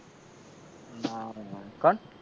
ના રે ના કોણ?